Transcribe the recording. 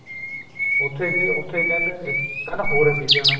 ਉੱਥੇ ਗਏ ਉੱਥੇ ਕਹਿੰਦੇ ਕਹਿੰਦਾ ਹੋਰ ਅੱਗੇ ਜਾਣਾ